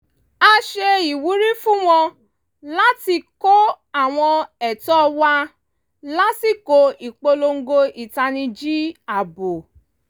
a ṣe ìwúrí fún wọn láti kọ́ àwọn ẹ̀tọ́ wa lásikò ìpolongo ìtanijí ààbò